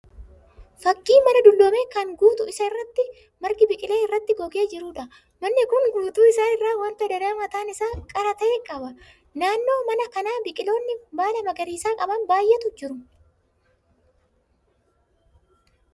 Fakkii mana dulloome kan guutuu isaa irratti margi biqilee irratti gogee jiruudha. Manni kun guutuu isaa irraa wanta danaa mataan isaa qara ta'e qaba. Naannoo mana kanaa biqiloonni baala magariisa qaban baay'eetu jiru.